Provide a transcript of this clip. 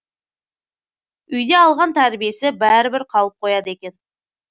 үйде алған тәрбиесі бәрібір қалып қояды екен